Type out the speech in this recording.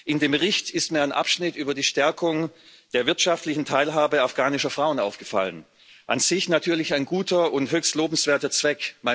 In dem Bericht ist mir ein Abschnitt über die Stärkung der wirtschaftlichen Teilhabe afghanischer Frauen aufgefallen an sich natürlich ein guter und höchst lobenswerter Zweck.